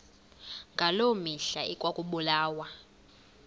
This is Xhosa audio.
ngaloo mihla ekwakubulawa